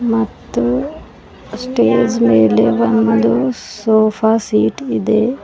ಮತ್ತು ಸ್ಟೇಜ್ ಮೇಲೆ ಒಂದು ಸೋಫಾ ಸೀಟ್ ಇದೆ.